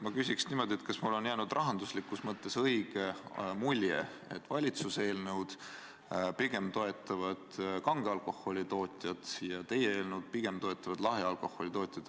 Ma küsin niimoodi: kas mul on jäänud rahanduslikus mõttes õige mulje, et valitsuse eelnõu pigem toetavad kange alkoholi tootjad ja teie eelnõu pigem toetavad lahja alkoholi tootjaid?